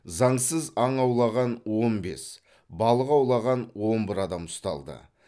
заңсыз аң аулаған он бес балық аулаған он бір адам ұсталды